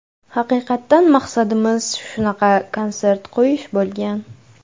Haqiqatan maqsadimiz shunaqa konsert qo‘yish bo‘lgan.